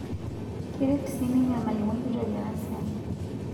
Keret sii ninye olmalimui kitok ena siai